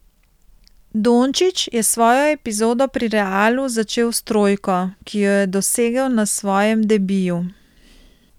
Dončić je svojo epizodo pri Realu začel s trojko, ki jo je dosegel na svojem debiju.